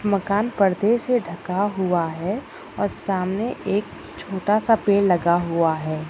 मकान पर्दे से ढका हुआ है और सामने एक छोटा सा पेड़ लगा हुआ है।